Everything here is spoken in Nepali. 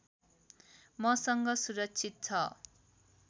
मसँग सुरक्षित छ